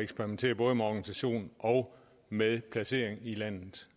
eksperimentere både med organisationen og med placeringen i landet